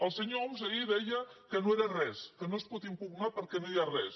el senyor homs ahir deia que no era res que no es pot impugnar perquè no hi ha res